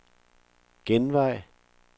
genvej